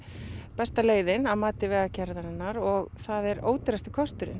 besta leiðin að mati vegagerðarinnar og það er ódýrasti kosturinn